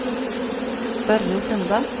Børre Sunde